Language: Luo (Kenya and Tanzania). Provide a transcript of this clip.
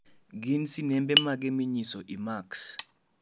gin sinembe mage minyiso i. max.